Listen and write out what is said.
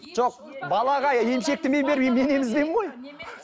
жоқ балаға емшекті мен бермеймін мен емізбеймін ғой